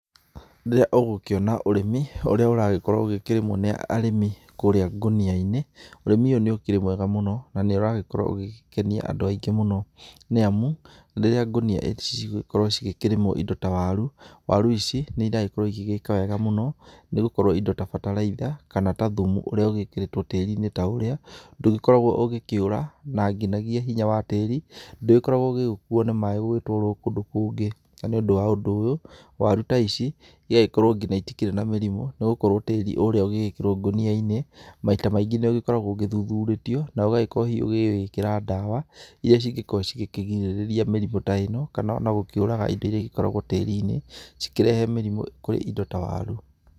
Rĩrĩa ũgũkĩona ũrĩmi ũrĩa ũragĩkorwo ũkĩrĩmwo nĩ arĩmĩ, kũrĩa ngũnĩainĩ. Ũrĩmĩ ũyũ ũkĩrĩ mwega mũno, na nĩ ũragĩkorwo ũgĩkenia andũ aingĩ mũno, nĩ amu rĩrĩa ngũnia ici cigũkorwo cigĩkĩrĩmwo kĩndũ ta waru, waru ici nĩiragĩkorwo cĩgĩgĩka wega mũno, nĩgũkorwo indo ta bataraitha kana ta thimu ũria ũgĩkĩrĩtwo tĩriini ta ũyũ ,ndũgĩkoragwo ũgĩkĩũra na nginyagia hinya wa tĩri, ndũkoragwo ũgĩkuo nĩ maĩ ũgĩtwarwo kũndũ kũngĩ. Na nĩ ũndũ wa ũndũ ũyũ warũ ta ici, ĩgakorwo nginya itirĩ na mĩrimũ nĩ gũkorwo tĩri ũyũ ũgĩgĩkĩrwo ngũniainĩ, maita maingĩ nĩ ũgĩkoragwo ũthuthurĩtio, ũgagĩkorwo hihi ũgĩkĩra ndawa, iria ingĩkorwo ikĩgirĩrĩria mĩrĩmũ ta ĩno, kana ona gũkĩũraga indo iria ikoragwo tĩri-inĩ, cikĩrehe mĩrimũ kũrĩ indo ta waru.